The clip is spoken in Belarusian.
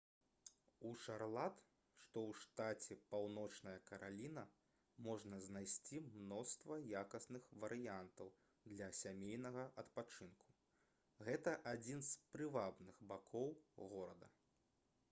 у шарлат што ў штаце паўночная караліна можна знайсці мноства якасных варыянтаў для сямейнага адпачынку гэта адзін з прывабных бакоў горада